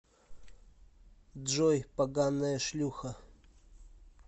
джой поганая шлюха